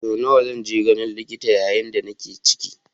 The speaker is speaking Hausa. Sau nawa zan je ganin likita yayin da nake ciki?